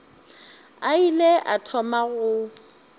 a ile a thoma go